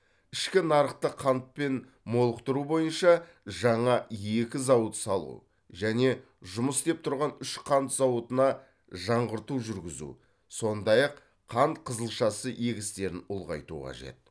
ішкі нарықты қантпен молықтыру бойынша жаңа екі зауыт салу және жұмыс істеп тұрған үш қант зауытына жаңғырту жүргізу сондай ақ қант қызылшасы егістерін ұлғайту қажет